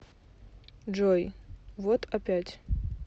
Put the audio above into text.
джой вот опять